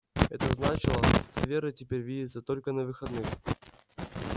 это значило с верой теперь видеться только на выходных